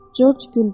Corc güldü.